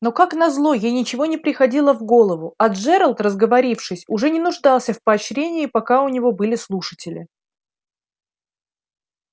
но как назло ей ничего не приходило в голову а джералд разговорившись уже не нуждался в поощрении пока у него были слушатели